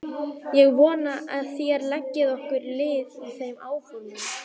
Ég vona að þér leggið okkur lið í þeim áformum.